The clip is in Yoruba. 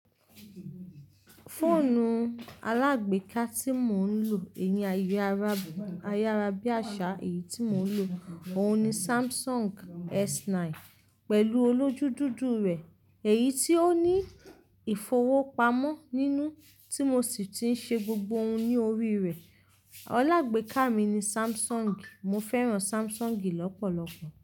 Fóònù alágbéka tí mò ń lò, èyí ayéará, ayaarábíàsá èyí tí mò ń lò, òun ni Samsung S9 pẹ̀lú olójú dúdú rẹ̀ èyí tí ó ní ìfowópamọ́ nínú tí mo sì ti ń ṣe gbogbo ohun ní orí rẹ̀. Alágbéka mi ni Samsung, mo fẹ́ran Samsung lọ́pọ̀lọpọ̀.